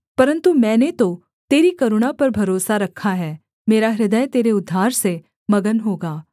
परन्तु मैंने तो तेरी करुणा पर भरोसा रखा है मेरा हृदय तेरे उद्धार से मगन होगा